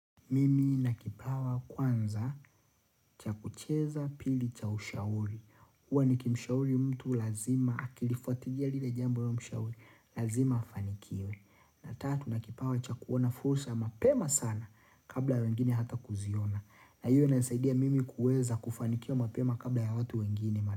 Mimi nakipawa kwanza chakucheza pili cha ushauri huwa nikimshauri mtu lazima akilifuatilia lile jambo niliyomshauri Lazima afanikiwe na tatu nakipawa chakuona fursa mapema sana Kabla wengine hata kuziona na hiyo imesaidia mimi kuweza kufanikia mapema kabla ya watu wengine.